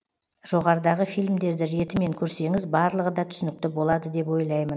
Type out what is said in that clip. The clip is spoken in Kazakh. жоғарыдағы фильмдерді ретімен көрсеңіз барлығы да түсінікті болады деп ойлаймын